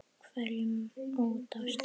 hverjum út á stétt.